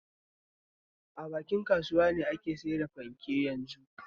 A bakin kasuwa ne ake sayar da fanke yanzun.